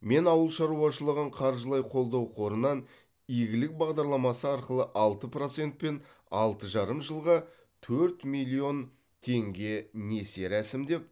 мен ауыл шаруашылығын қаржылай қолдау қорынан игілік бағдарламасы арқылы алты процентпен алты жарым жылға төрт миллион теңге несие рәсімдеп